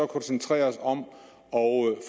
koncentrere os om at